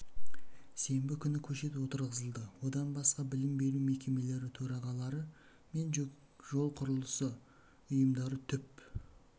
сенбі күні көшет отырғызылды одан басқа білім беру мекемелері төрағалары мен жол құрылысы ұйымдары түп